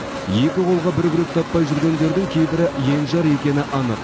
екі қолға бір күрек таппай жүргендердің кейбірі енжар екені анық